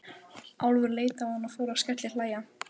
Álfur leit á hann og fór að skellihlæja.